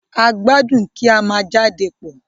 A gbadun kí a má jade pọ.